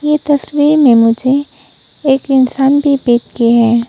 ये तस्वीर में मुझे एक इंसान भी बैठे के हैं।